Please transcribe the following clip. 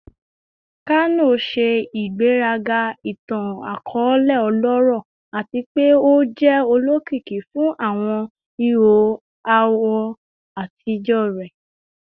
Kano ṣe igberaga itan-akọọlẹ ọlọrọ ati pe o jẹ olokiki fun awọn iho awọ atijọ rẹ